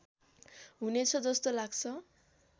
हुनेछ जस्तो लाग्छ